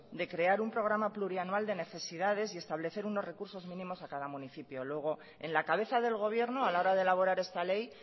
de crear un programa plurianual de necesidades y establecer unos recursos mínimos a cada municipio luego en la cabeza del gobierno a la hora de elaborar esta ley